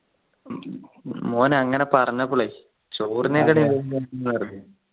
M ഉം മോനെ അങ്ങനെ പറഞ്ഞപ്പോള് ചോറിനെക്കാട്ടിയും ന്നു പറഞ്ഞു